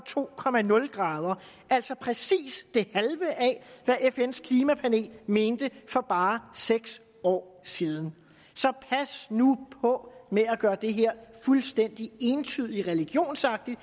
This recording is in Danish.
to grader altså præcis det halve af hvad fns klimapanel mente for bare seks år siden så pas nu på med at gøre det her fuldstændig entydigt og religionsagtigt